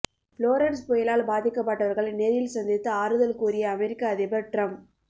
Florence புயலால் பாதிக்கப்பட்டவர்களை நேரில் சந்தித்து ஆறுதல் கூறிய அமெரிக்க அதிபர் டிரம்ப்